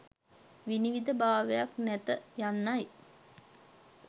විනිවිද භාවයක් නැත යන්නයි.